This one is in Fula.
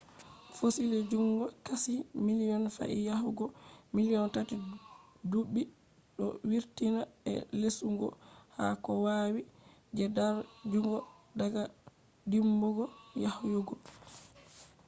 fossil jungo qashi million did yahugo million tati dubi do vurtina je lusungo ha koh wawi je dar jungo daga dimbugo yahugo manipulation